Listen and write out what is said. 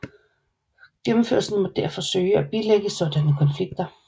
Gennemførelsen måtte derfor søge at bilægge sådanne konflikter